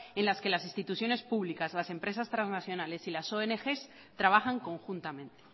en las que las instituciones públicas las empresas transnacionales y las ongs trabajan conjuntamente